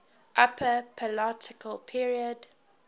upper paleolithic period